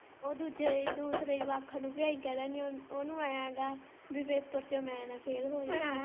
ਉਹ ਦੂਜੇ ਦੂਸਰੇ ਜਵਾਕਾਂ ਨੂੰ ਓਹਨੂੰ ਐਂ ਗਾ ਭੀ ਪੇਪਰ ਚੋ ਮੈਂ ਨਾ ਫੇਲ ਹੋ ਜਾ।